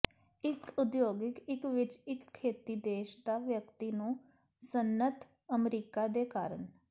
ਇੱਕ ਉਦਯੋਗਿਕ ਇੱਕ ਵਿੱਚ ਇੱਕ ਖੇਤੀ ਦੇਸ਼ ਦਾ ਵਿਅਕਤੀ ਨੂੰ ਸਨਅੱਤ ਅਮਰੀਕਾ ਦੇ ਕਾਰਨ